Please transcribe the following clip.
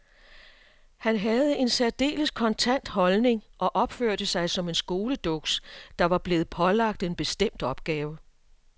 Han havde en særdeles kontant holdning og opførte sig som en skoleduks, der var blevet pålagt en bestemt opgave.